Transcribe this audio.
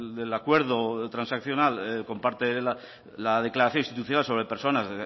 del acuerdo transaccional comparte la declaración institucional sobre personas